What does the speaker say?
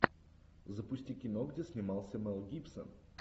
запусти кино где снимался мэл гибсон